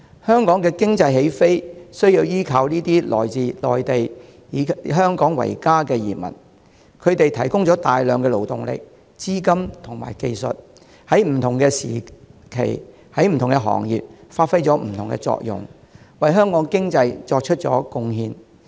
香港的經濟起飛，有賴這些來自內地、以香港為家的移民，他們提供了大量勞動力、資金及技術，在不同的時期在不同的行業發揮不同的作用，為香港的經濟作出貢獻。